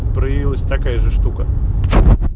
появилась такая же штука